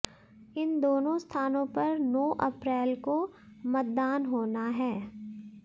इन दोनों स्थानों पर नौ अप्रैल को मतदान होना है